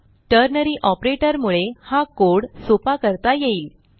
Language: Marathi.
टर्नरी ऑपरेटर मुळे हा कोड सोपा करता येईल